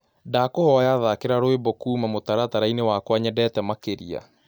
ndakũhoya thakĩra rwĩmbo kũũma mũtarataraĩnĩ wakwa nyendete makĩrĩa